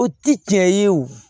O ti cɛ ye wo